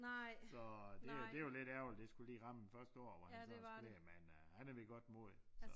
Så det det jo lidt ærgerligt det skulle lige ramme den første år hvor han så sådan skulle lære det men øh han er ved godt mod så